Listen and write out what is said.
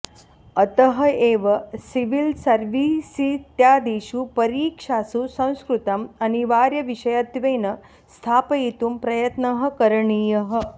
अतः एव सिविल्सर्वीसित्यादिषु परीक्षासु संस्कृतम् अनिवार्यविषयत्वेन स्थापयितुं प्रयत्नः करणीयः